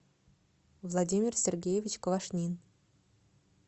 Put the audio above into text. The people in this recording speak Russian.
владимир сергеевич квашнин